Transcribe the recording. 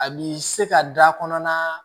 A b'i se ka da kɔnɔna